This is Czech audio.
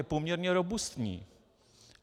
Je poměrně robustní.